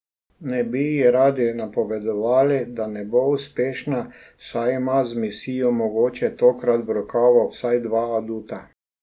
Ne bi ji radi napovedovali, da ne bo uspešna, saj ima za misijo mogoče tokrat v rokavu vsaj dva aduta.